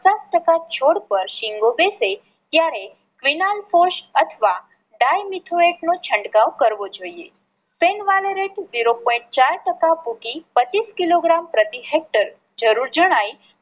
પચાસ ટકા છોડ પર સિંગો બેસે ત્યારે ફિનાઇલ ફોસ અથવા Dimethoate નો છંટકાવ કરવો જોઈએ. ઝીરો પોઈન્ટ ચાર ટકા મૂકી પચીસ કિલોગ્રામ પ્રતિ હેક્ટર જરૂર જણાય